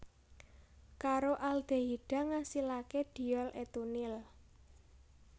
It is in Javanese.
Karo aldehida ngasilaké diol etunil